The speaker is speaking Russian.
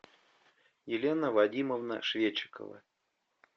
елена вадимовна шведчикова